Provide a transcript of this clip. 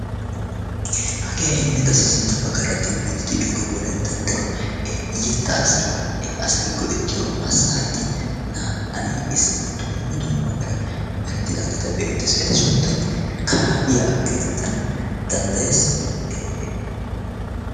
Hagee ha'i qassi nuuni sintta baggaara demmiidi de'iyoogee wolayttan daro yettaassi asay go"ettiyo massaareti naa"ay issippe dumma dumma meran merettidaageta be'eettees. eta sunttay karaabiyaa geetettana danddayees.